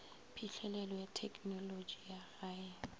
phihlelelo ya thekenolotši ya gae